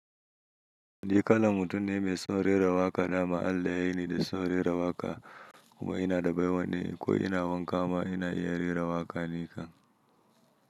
Ni kalan mutum ne mai son rera waƙa, dama Allah ya yi ni da son rera waƙa kuma ina da baiwa ni ko ina wanka ma ina ya rera waƙa ni kan.